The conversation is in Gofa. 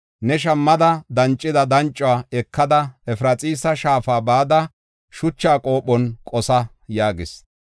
“Ne shammada dancida dancuwa ekada, Efraxiisa shaafa bada shucha qophon qosa” yaagis.